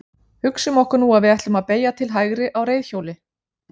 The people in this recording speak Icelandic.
Hugsum okkur nú að við ætlum að beygja til hægri á reiðhjóli.